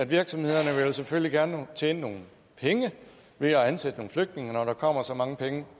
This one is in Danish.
virksomhederne selvfølgelig gerne vil tjene nogle penge ved at ansætte nogle flygtninge når der kommer så mange penge